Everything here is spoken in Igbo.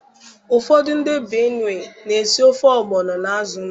Ụfọdụ ndị benue na esi ofe ọgbọno na azụ ndụ